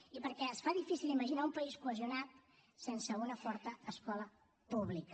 i perquè es fa difícil imaginar un país cohesionat sense una forta escola pública